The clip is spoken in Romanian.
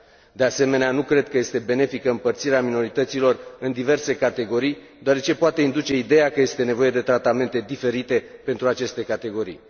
De asemenea, nu cred că este benefică împărțirea minorităților în diverse categorii, deoarece, poate induce ideea că este nevoie de tratamente diferite pentru aceste categorii.